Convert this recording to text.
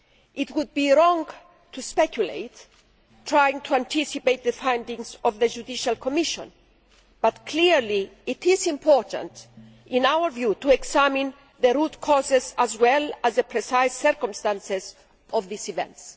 It would be wrong to speculate and to try to anticipate the findings of the judicial commission, but clearly it is important, in our view, to examine the root causes as well as the precise circumstances of these events.